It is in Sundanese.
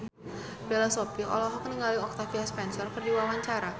Bella Shofie olohok ningali Octavia Spencer keur diwawancara